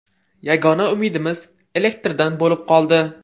Yagona umidimiz elektrdan bo‘lib qoldi.